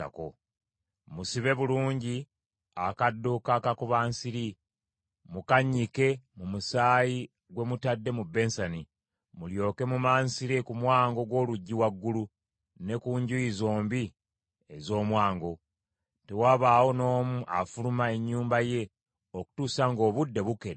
Musibe bulungi akaddo k’akakubansiri, mukannyike mu musaayi gwe mutadde mu bensani, mulyoke mumansire ku mwango gw’oluggi waggulu, ne ku njuyi zombi ez’omwango. Tewabaawo n’omu afuluma ennyumba ye okutuusa ng’obudde bukedde.